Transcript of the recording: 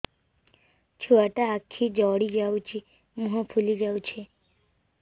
ଛୁଆଟା ଆଖି ଜଡ଼ି ଯାଉଛି ମୁହଁ ଫୁଲି ଯାଉଛି